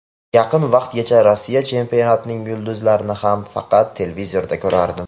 Yaqin vaqtgacha Rossiya chempionatining yulduzlarini ham faqat televizorda ko‘rardim.